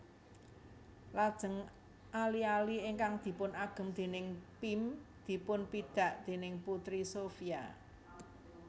Lajeng ali ali ingkang dipunagem déning Pim dipunpidak déning Putri Sophia